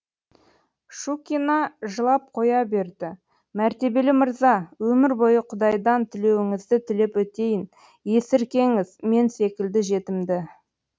шукина жылап қоя берді мәртебелі мырза өмір бойы құдайдан тілеуіңізді тілеп өтейін есіркеңіз мен секілді жетімді